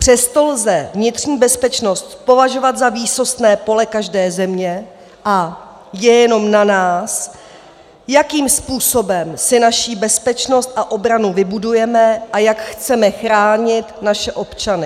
Přesto lze vnitřní bezpečnost považovat za výsostné pole každé země a je jenom na nás, jakým způsobem si naši bezpečnost a obranu vybudujeme a jak chceme chránit naše občany.